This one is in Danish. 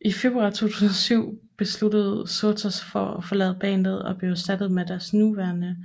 I februar 2007 besluttede Shouta sig for at forlade bandet og blev erstattet med deres nuværende